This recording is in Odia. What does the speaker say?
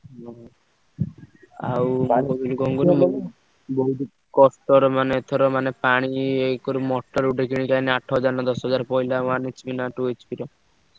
ହୁଁ ହୁଁ। ଆଉ ପୁଣି କଣ କହିଲୁ ବହୁତ କଷ୍ଟ ରେ ମାନେ ଏଥର ମାନେ ପାଣି ଏକରି motor ଗୋଟେ କିଣିକି ଆଣି ଆଠ ହଜାର ନା ଦଶ ହଜାର ପଇଲା one HP ନା two HP ର ସେ।